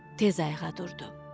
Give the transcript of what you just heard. Tez ayağa durdu.